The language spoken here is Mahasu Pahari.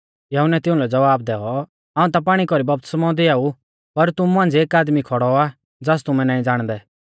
यहुन्नै तिउंलै ज़वाब दैऔ हाऊं ता पाणी कौरी बपतिस्मौ दिआऊ पर तुमु मांझ़िऐ एक आदमी खौड़ौ आ ज़ास तुमै नाईं ज़ाणदै